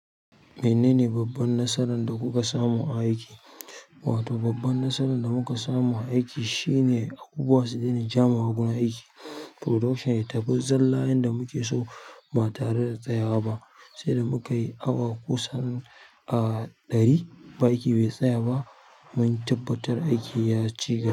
Menene babban nasaran da kuka samu a aiki? Wato babban nasaran da muka samu a aiki shine abubuwa su daina jama'wa guri aiki. Production ya tafi zalla yanda muke so ba tare da tsayawa ba, sai da muka yi awa kusan, ah, ɗari ba aiki bai tsaya ba mun tabbatar aiki ya ciyu.